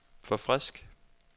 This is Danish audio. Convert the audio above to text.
forfrisk